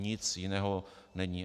Nic jiného není.